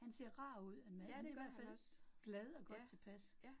Han ser rar ud, at manden i hvert fald glad og godt tilpas